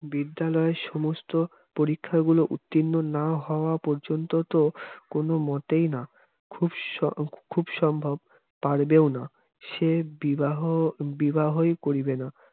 বিদ্যালয়ের সমস্ত পরীক্ষা গুলো উত্তীর্ণ না হওয়া পর্যন্ত তো কোন মতেই না খুব স খুব সম্ভব পারবেওনা সে বিবাহ বিবাহই করিবে না